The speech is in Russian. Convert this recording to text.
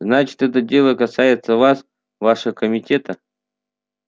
значит это дело касается вас ваше комитета